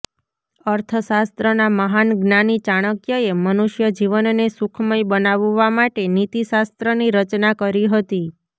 અર્થશાસ્ત્રના મહાન જ્ઞાની ચાણક્યએ મનુષ્ય જીવનને સુખમય બનાવવા માટે નીતિ શાસ્ત્રની રચના કરી હતી